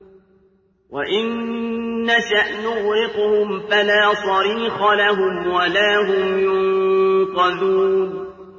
وَإِن نَّشَأْ نُغْرِقْهُمْ فَلَا صَرِيخَ لَهُمْ وَلَا هُمْ يُنقَذُونَ